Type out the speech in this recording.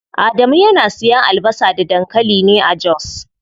Adamu yana siyan albasa da dankali ne a jos.